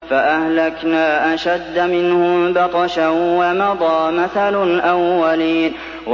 فَأَهْلَكْنَا أَشَدَّ مِنْهُم بَطْشًا وَمَضَىٰ مَثَلُ الْأَوَّلِينَ